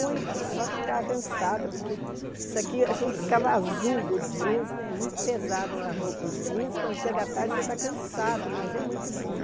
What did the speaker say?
Muito, só que eu ficava cansada, porque isso aqui, a gente ficava azul do jeans, né muito pesado a roupa o jeans, quando chega a tarde você está cansado, mas é muito bom.